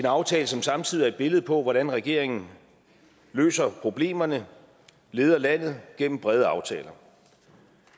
aftale som samtidig er et billede på hvordan regeringen løser problemerne leder landet gennem brede aftaler